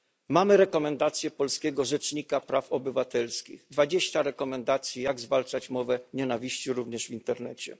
Mamy rekomendacje polskiego rzecznika praw obywatelskich, dwadzieścia rekomendacji, jak zwalczać mowę nienawiści, również w internecie.